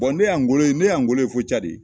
ne y'a ngolo ye , ne y'a ngolo ye fo cadi.